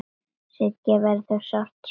Siggu verður sárt saknað.